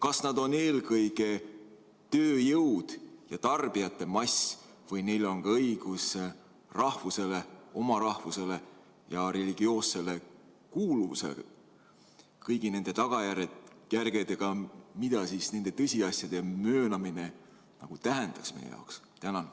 Kas nad on eelkõige tööjõud ja tarbijate mass või neil on ka õigus rahvusele, oma rahvusele ja religioossele kuuluvusele kõigi nende tagajärgedega, mida nende tõsiasjade möönmine tähendaks meie jaoks?